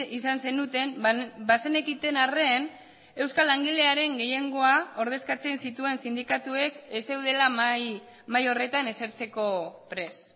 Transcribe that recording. izan zenuten bazenekiten arren euskal langilearen gehiengoa ordezkatzen zituen sindikatuek ez zeudela mahai horretan esertzeko prest